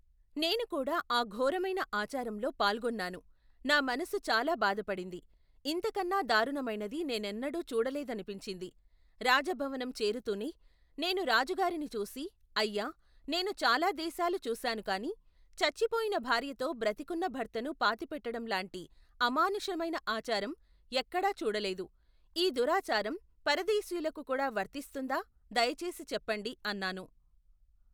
నేనుకూడా ఆ ఘోరమైన ఆచారంలో పాల్గొన్నాను నా మనస్సు చాలా బాధ పడింది, ఇంతకన్నా దారుణమైనది నేనెన్నడు చూడలేదనిపించింది, రాజభవనం చేరుతూనే, నేను రాజుగారిని చూసి, అయ్యా, నేను చాలా దేశాలు చూశాను కాని, చచ్చిపోయిన భార్యతో బ్ర తికున్న భర్తను పాతిపెట్టటంలాంటి అమానుషమైన ఆచారం ఎక్కడా చూడలేదు, ఈ దురాచారం పరదేశీయులకుకూడా వర్తిస్తుందా దయచేసి చెప్పండి అన్నాను.